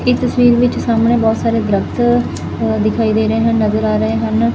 ਇਹ ਤਸਵੀਰ ਵਿੱਚ ਸਾਹਮਣੇ ਬਹੁਤ ਸਾਰੇ ਦਰਖਤ ਦਿਖਾਈ ਦੇ ਰਹੇ ਹਨ ਨਜ਼ਰ ਆ ਰਹੇ ਹਨ।